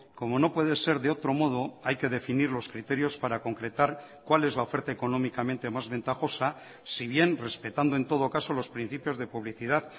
como no puede ser de otro modo hay que definir los criterios para concretar cuál es la oferta económicamente más ventajosa si bien respetando en todo caso los principios de publicidad